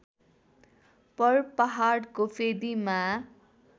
पर पहाडको फेदीमा